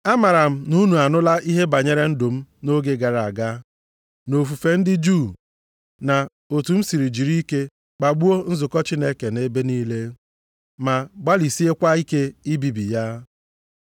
Amara m na unu anụla ihe banyere ndụ m nʼoge gara aga, nʼofufe ndị Juu, na otu m si jiri ike kpagbuo nzukọ Chineke nʼebe niile, ma gbalịsiekwa ike ibibi ya.